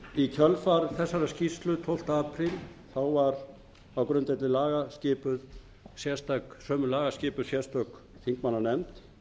í kjölfar þessarar skýrslu tólfta apríl tólfta apríl var á grundvelli laga skipuð sérstök þingmannanefnd